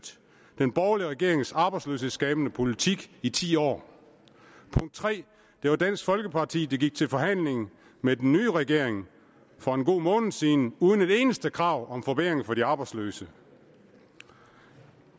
den borgerlige regerings arbejdsløshedsskabende politik i ti år det var dansk folkeparti der gik til forhandling med den nye regering for en god måned siden uden et eneste krav om forbedringer for de arbejdsløse